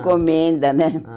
Encomenda, né? Ah